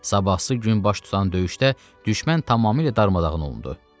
Sabahsı gün baş tutan döyüşdə düşmən tamamilə darmadağın olundu.